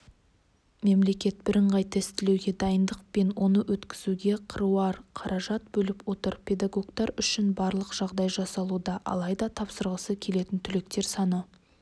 мемлекет бірыңғай тестілеуге дайындық пен оны өткізуге қыруар қаражат бөліп отыр педагогтар үшін барлық жағдай жасалуда алайда тапсырғысы келетін түлектер саны